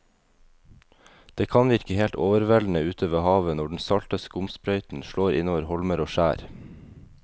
Det kan virke helt overveldende ute ved havet når den salte skumsprøyten slår innover holmer og skjær.